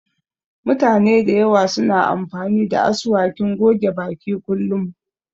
Mutane da yawa suna amfani da asuwakin goge baki kullum